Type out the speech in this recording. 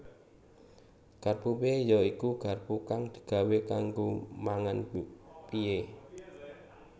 Garpu pie ya iku garpu kang digawé kanggo mangan pie